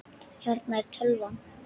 Hérna er tölvan.